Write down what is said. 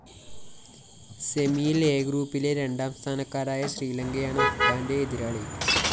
സെമിയില്‍ A ഗ്രൂപ്പിലെ രാണ്ടാം സ്ഥാനക്കാരായ ശ്രീലങ്കയാണ് അഫ്ഗാന്റെ എതിരാളി